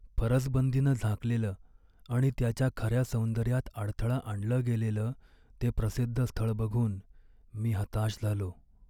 फरसबंदीनं झाकलेलं आणि त्याच्या खऱ्या सौंदर्यात अडथळा आणलं गेलेलं ते प्रसिद्ध स्थळ बघून मी हताश झालो.